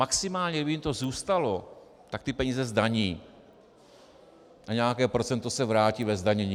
Maximálně kdyby jim to zůstalo, tak ty peníze zdaní a nějaké procento se vrátí ve zdanění.